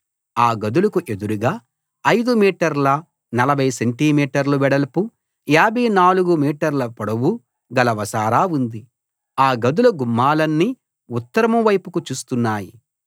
ఆ గదులకు ఎదురుగా 5 మీటర్ల 40 సెంటి మీటర్ల వెడల్పు 54 మీటర్ల పొడవు గల వసారా ఉంది ఆ గదుల గుమ్మాలన్నీ ఉత్తరం వైపుకు చూస్తున్నాయి